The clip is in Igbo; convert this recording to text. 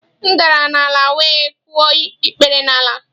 M dara n'ala wee kụọ ikpere n'ala